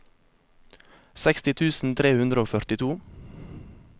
seksti tusen tre hundre og førtito